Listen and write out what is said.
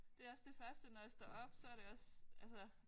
Det også det første når jeg står op så det også altså